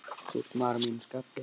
Þú ert maður að mínu skapi.